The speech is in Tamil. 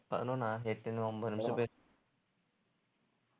பதினொன்னா எட்டு இன்னும் ஒன்பது நிமிஷம் பேசு~